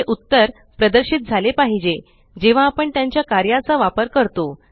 हे उत्तर प्रदर्शित झाले पाहिजे जेव्हा आपण त्यांच्या कार्याचा वापर करतो